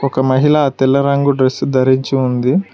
ఒక మహిళ తెల్ల రంగు డ్రెస్ ధరించి ఉంది.